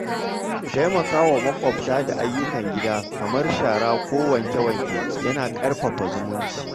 Taimaka wa makwabta da ayyukan gida kamar shara ko wanke-wanke yana ƙarfafa zumunci.